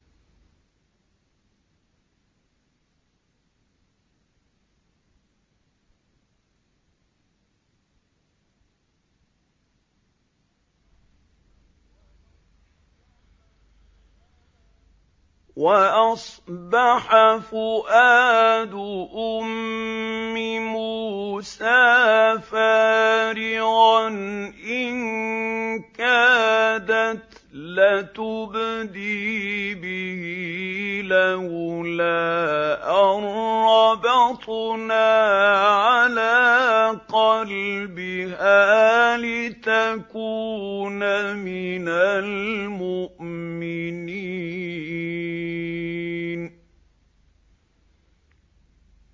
وَأَصْبَحَ فُؤَادُ أُمِّ مُوسَىٰ فَارِغًا ۖ إِن كَادَتْ لَتُبْدِي بِهِ لَوْلَا أَن رَّبَطْنَا عَلَىٰ قَلْبِهَا لِتَكُونَ مِنَ الْمُؤْمِنِينَ